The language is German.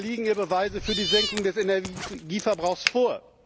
Oder liegen ihr Beweise für die Senkung des Energieverbrauchs vor?